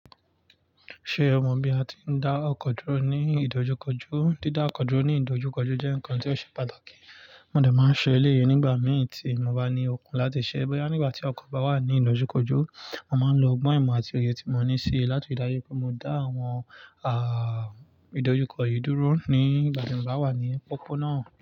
Ṣé o mọ bí a ti ń dá ọkọ̀ dúró ní ìdojúkọjú? Dídá ọkọ̀ dúró ní ìdojúkọjú jẹ́ nǹkan tí ó ṣe pàtàkì. Mo dà máa ń ṣe eleyìí nígbà mìí tí mo bá ní ọkùn láti ṣẹ́ bọ́yá nígbà tí ọkọ̀ bá wà ní ìdojúkọjú, mo máa ń lo ọgbọ́n ìmọ̀ àti òye tí mo ní sí i láti dari wipe mo dá àwọn, ìdojúkọ yìí dúró ní ìgbà tí mo bá wà ní pópó náà.